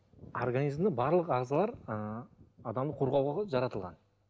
организмде барлық ағзалар ы адамды қорғауға ғой жаратылған